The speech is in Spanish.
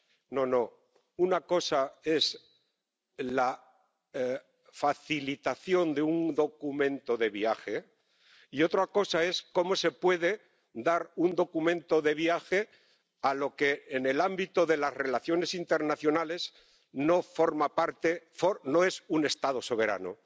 No, una cosa es la facilitación de un documento de viaje y otra cosa es cómo se puede dar un documento de viaje a lo que, en el ámbito de las relaciones internacionales, no es un Estado soberano.